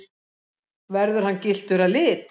Verður hann gylltur að lit